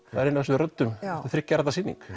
það er ein af þessum röddum þriggja radda sýning